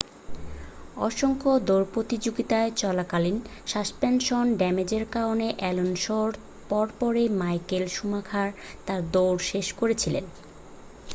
অসংখ্য দৌড় প্রতিযোগিতায় চলাকালীন সাসপেনশন ড্যামেজের কারণে অ্যালোনসোর পর পরই মাইকেল শুমাখার তাঁর দৌড় শেষ করেছিলেন